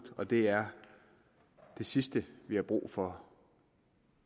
og det er det sidste vi har brug for